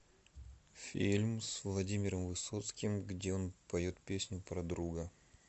фильм с владимиром высоцким где он поет песню про друга